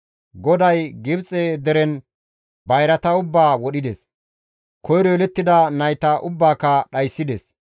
GODAY Gibxe deren bayrata ubbaa wodhides; koyro yelettida nayta ubbaaka dhayssides.